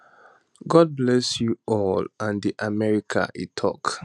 god bless um you all and america e tok